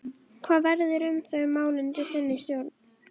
Hvað verður um þau mál undir þinni stjórn?